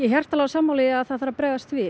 hjartanlega sammála því að það þarf að bregðast við